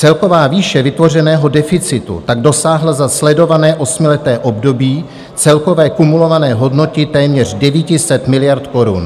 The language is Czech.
Celková výše vytvořeného deficitu tak dosáhla za sledované osmileté období celkové kumulované hodnoty téměř 900 miliard korun.